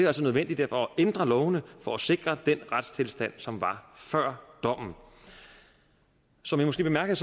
altså nødvendigt at ændre lovene for at sikre den retstilstand som var før dommen som i måske bemærkede